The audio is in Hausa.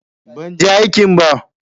Ban je aikin ba.